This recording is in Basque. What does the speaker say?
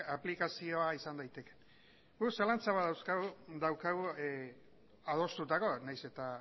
aplikazioa izan daitekeen guk zalantzak badauzkagu adostutakoa nahiz eta